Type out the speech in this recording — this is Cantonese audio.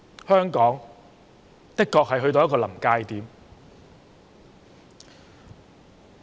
香港的確到了臨界點。